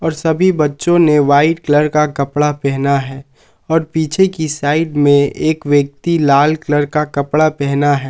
सभी बच्चों ने व्हाइट कलर का कपड़ा पहना है और पीछे की साइड में एक व्यक्ति लाल कलर का कपड़ा पहना है।